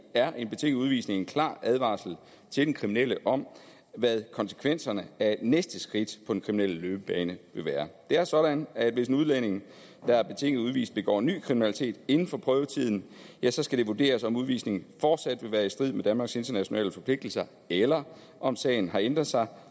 er en betinget udvisning en klar advarsel til den kriminelle om hvad konsekvenserne af næste skridt på den kriminelle løbebane vil være det er sådan at hvis en udlænding der er betinget udvist begår ny kriminalitet inden for prøvetiden ja så skal det vurderes om udvisningen fortsat vil være i strid med danmarks internationale forpligtelser eller om sagen har ændret sig